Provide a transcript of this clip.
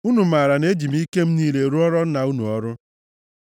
Unu maara na eji m ike m niile rụọra nna unu ọrụ.